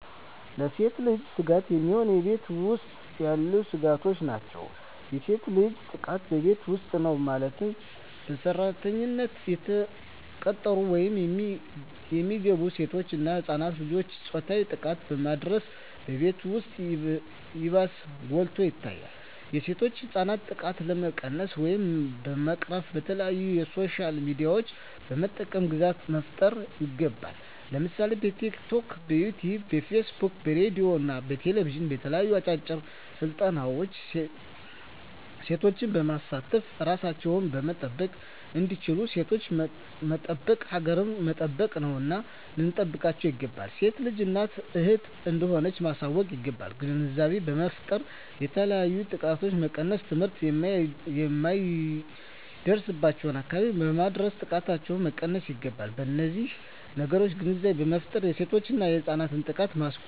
ለሴት ልጅ ስጋት የሚሆኑ በቤት ውስጥ ያሉ ስጋቶች ናቸው። የሴት ልጅ ጥቃት በቤት ውስጥ ነው ማለትም በሰራተኝነት የተቀጠሩ ወይም የሚገቡ ሴቶች እና ህፃናት ልጆችን ፆታዊ ጥቃትን በማድረስ በቤት ውስጥ ይባስ ጎልቶ ይታያል የሴቶችና ህፃናት ጥቃት ለመቀነስ ወይም ለመቅረፍ በተለያዪ በሶሻል ሚዲያዎችን በመጠቀም ግንዛቤ መፍጠር ይገባል ለምሳሌ በቲክቶክ, በዩቲቪ , በፌስቡክ በሬድዬ እና በቴሌቪዥን በተለያዩ አጫጭር ስልጠናዎች ሴቶችን በማሳተፍ እራሳቸውን መጠበቅ እንዲችሉና ሴቶችን መጠበቅ ሀገርን መጠበቅ ነውና ልንጠብቃቸው ይገባል። ሴት ልጅ እናት እህት እንደሆነች ማሳወቅ ይገባል። ግንዛቤ በመፍጠር የተለያዩ ጥቃቶችን መቀነስ ትምህርት የማይደርስበትን አካባቢዎች በማድረስ ጥቃቶችን መቀነስ ይገባል። በነዚህ ነገሮች ግንዛቤ በመፍጠር የሴቶችና የህፃናት ጥቃትን ማስቆም ይቻላል።